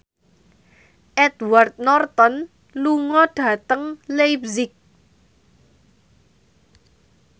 Edward Norton lunga dhateng leipzig